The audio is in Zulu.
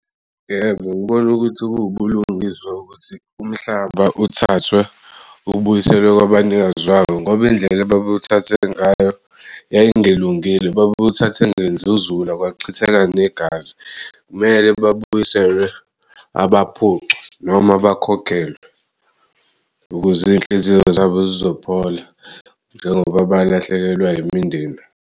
Yebo, ngibona ukuthi kuwubulungiswa ukuthi umhlaba uthathwe ubuyiselwe kwabanikazi wabo ngoba indlela ababewuthathe ngayo yayingelungile babewuthathe ngendluzula kwachitheka negazi. Mele babuyiselwe abaphucwa noma bakhokhelwe ukuze iy'nhliziyo zabo zizophola, njengoba balahlekelwa imindeni.